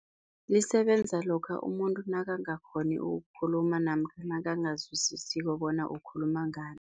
Lisebenza lokha umuntu nakangakghoni ukukhuluma namkha nakangazwisisiko bona ukhuluma ngani.